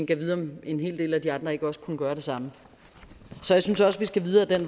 gad vide om en hel del af de andre ikke også kunne gøre det samme så jeg synes også vi skal videre ad